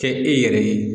Kɛ e yɛrɛ ye